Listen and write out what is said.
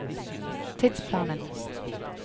tidsplanen